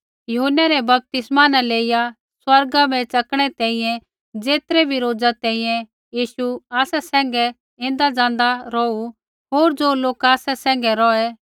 यूहन्नै रै बपतिस्मै न लेइया स्वर्गा बै च़किणै तैंईंयैं ज़ेतरै बी रोज़ा तैंईंयैं यीशु आसा सैंघै ऐन्दाज़ाँदा रौहू होर ज़ो लोका आसा सैंघै रौहै